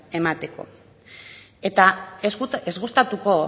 emateko ez gustatuko